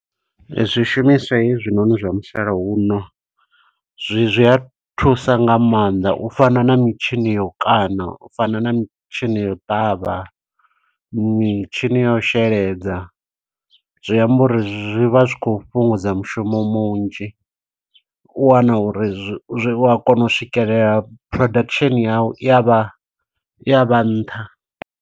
Zwishumiswa he zwinoni zwa musalauno, zwi zwi a thusa nga maanḓa. U fana na mitshini yo u kaṋa, u fana na mitshini yo u ṱavha, mitshini yo u sheladza. Zwiamba uri zwi vha zwi khou fhungudza mushumo munzhi, u wana uri zwi zwi u a kona u swikelela production yawu, i ya vha, i ya vha nṱha.